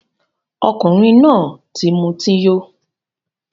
Ọkunrin náà ti muti yó